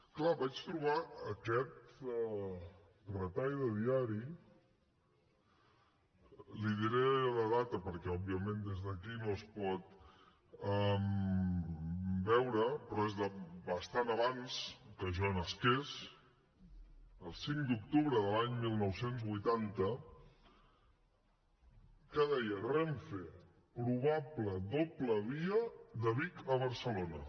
clar vaig trobar aquest retall de diari i li diré la data perquè òbviament des d’aquí no es pot veure però és de bastant abans que jo nasqués el cinc d’octubre de l’any dinou vuitanta que deia renfe probable doble via de vic a barcelona